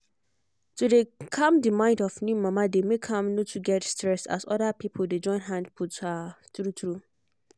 to dey cam the mind of new mama dey make am no too get stress as other pipo dey join hand put. ah tru tru